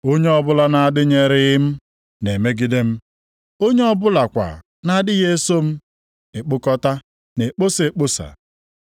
“Onye ọbụla na-adịnyeghịrị m na-emegide m. Onye ọ bụlakwa na-adịghị eso m ekpokọta, na-ekposa ekposa.